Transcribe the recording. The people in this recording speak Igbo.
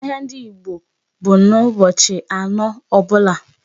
Ahịa ndị bụ n'ụbọchị anọ ọbụla.